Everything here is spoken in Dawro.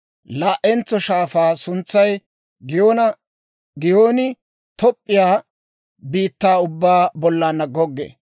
Laa"entso shaafaa suntsay Giyoona; Giyooni Top'p'iyaa biittaa ubbaa bollan goggee.